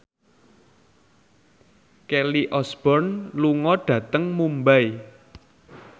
Kelly Osbourne lunga dhateng Mumbai